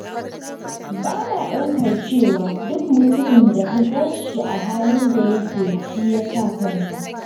Ba na ɗaukar cewa duk mutumin da ka gan shi a halin da yake shi ya saka kansa.